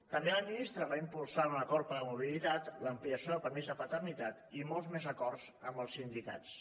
també la ministra va impulsar un acord per la mobilitat l’ampliació del permís de paternitat i molts més acords amb els sindicats